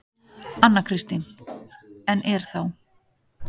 Anna Kristín: En er þá.